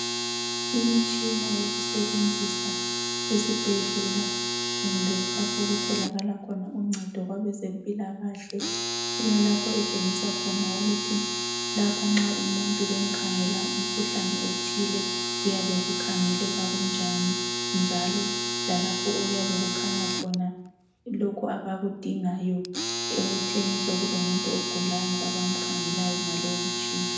Imitshina yokusebenzisa esibhedlela kumbe lapho okutholakala khona uncedo kwabezempilakahle ilalapho etshengisa khona ukuthi lapha nxa umuntu bemkhangela umkhuhlane othile kuyabe kukhangeleka kunjani njalo lalapho okuyabe kukhanya khona lokhu abakudingayo ekutheni sokulomuntu ogulayo abamkhangelayo ngalowu mtshina.